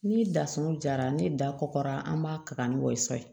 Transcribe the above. Ni dasun jara ni da kɔgɔra an b'a taga ni wasa ye